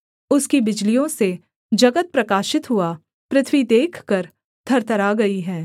उसकी बिजलियों से जगत प्रकाशित हुआ पृथ्वी देखकर थरथरा गई है